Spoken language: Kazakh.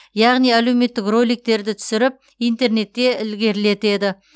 яғни әлеуметтік роликтерді түсіріп интернетте ілгерілетеді